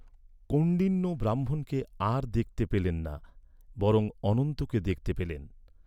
কৌণ্ডিন্য ব্রাহ্মণকে আর দেখতে পেলেন না বরং অনন্তকে দেখতে পেলেন।